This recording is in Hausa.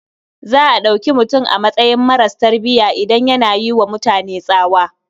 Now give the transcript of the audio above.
Za a ɗauki mutum a matsayin maras tarbiya idan yana yi wa mutane tsawa.